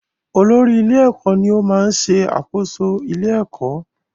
Olórí-ilé-ẹ̀kọ́ ní ó máa ń ṣẹ àkóso ilé-ẹ̀kọ́.